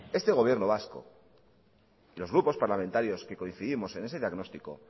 este gobierno vasco los grupos parlamentarios que coincidimos en ese diagnóstico